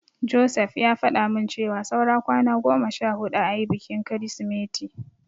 Joseph ya faɗa min cewa saura kwana goma sha huɗu ayi bikin Kirsimeti.